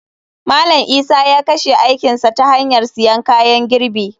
Malam Isa ya kashe aikin sa ta hanyar siyan kayan girbi.